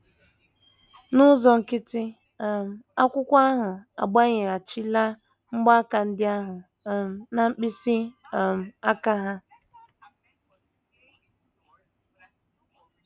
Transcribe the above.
N’ụzọ nkịtị um, akwụkwọ ahụ agbanyeghachila mgbaaka ndị ahụ um na mkpịsị um aka ha.